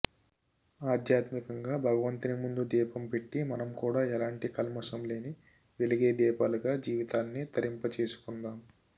ఆధ్యాత్మికంగా భగవంతుని ముందు దీపం పెట్టి మనం కూడా ఎలాంటి కల్మషం లేని వెలిగే దీపాలుగా జీవితాల్ని తరింపచేసుకొందాం